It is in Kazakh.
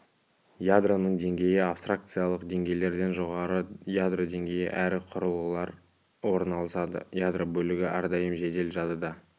ядроның деңгейі абстракциялық деңгейлерден жоғары ядро деңгейі әрі құрылғылар орналасады ядро бөлігі әрдайым жедел жадыда